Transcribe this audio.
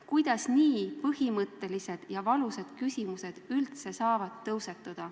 Kuidas nii põhimõttelised ja valusad küsimused üldse saavad tõusetuda?